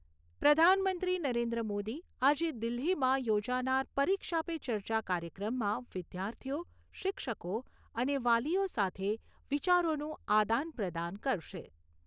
પ્રધાનમંત્રી નરેન્દ્ર મોદી આજે દિલ્હીમાં યોજાનાર પરીક્ષા પે ચર્ચા કાર્યક્રમમાં વિદ્યાર્થીઓ, શિક્ષકો અને વાલીઓ સાથે વિચારોનું આદાનપ્રદાન કરશે.